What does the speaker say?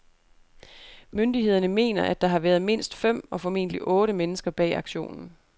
Myndighederne mener, at der har været mindst fem, og formentlig otte, mennesker bag aktionen.